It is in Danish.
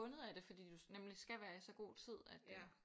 Bundet af det fordi du nemlig skal være i så god tid at øh